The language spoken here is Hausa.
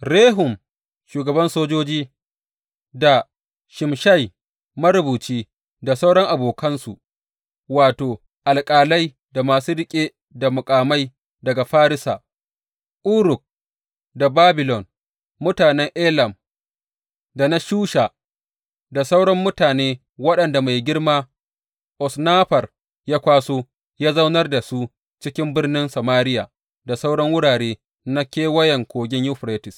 Rehum shugaban sojoji, da Shimshai marubuci, da sauran abokansu, wato, alƙalai, da masu riƙe da muƙamai daga Farisa, Uruk da Babilon, mutanen Elam da na Shusha, da sauran mutane waɗanda mai girma Osnaffar ya kwaso, ya zaunar da su cikin birnin Samariya da sauran wurare na Kewayen Kogin Yuferites.